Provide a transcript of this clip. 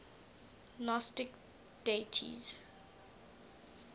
gnostic deities